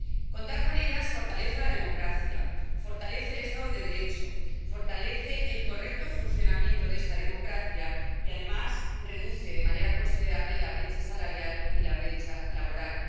Contar con ellas fortalece la democracia, fortalece el Estado de Derecho, fortalece el correcto funcionamiento de esta democracia y, además, reduce de manera considerable la brecha salarial y la brecha laboral.